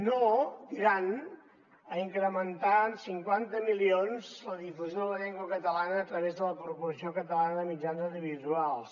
no diran a incrementar en cinquanta milions la difusió de la llengua catalana a través de la corporació catalana de mitjans audiovisuals